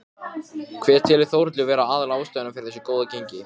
Þorbjörn: Þú vilt ekki fara nánar út í það?